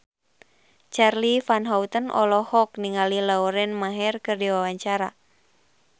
Charly Van Houten olohok ningali Lauren Maher keur diwawancara